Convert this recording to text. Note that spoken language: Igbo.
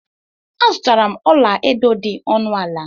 Azutara m ọla edo dị ọnụ ala.